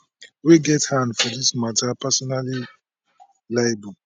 wey get hand for dis mata personally liable